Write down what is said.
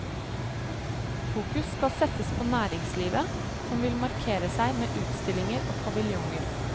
Fokus skal settes på næringslivet, som vil markere seg med utstillinger og paviljonger.